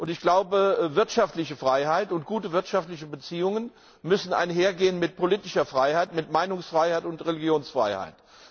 Ich glaube, wirtschaftliche Freiheit und gute wirtschaftliche Beziehungen müssen einhergehen mit politischer Freiheit, mit Meinungsfreiheit und Religionsfreiheit.